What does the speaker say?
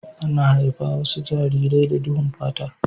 Ana haifi wasu jarirai da duhun fata.